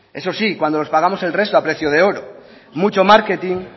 eso sí cuando los pagamos el resto a precio de oro mucho marketing